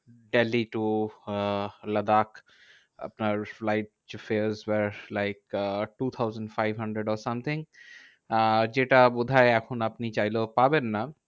Delhi to uh Ladakh আপনার flight fare are like uh two thousand five hundred or something uh যেটা বোধহয় এখন আপনি চাইলেও পাবেন না।